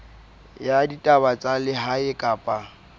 ya ditaba tsa lehae kapa